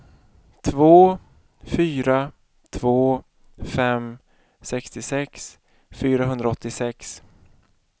två fyra två fem sextiosex fyrahundraåttiosex